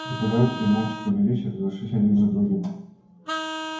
преподаватели молча поднялись и разошлись один за другим